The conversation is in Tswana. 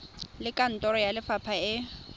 le kantoro ya lefapha e